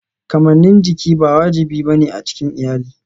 Kamannin jiki ba wajibi ba ne a cikin iyali.